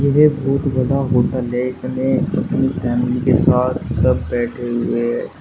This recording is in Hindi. ये बहोत बड़ा होटल है इसमें अपनी फैमिली के साथ सब बैठे हुए हैं।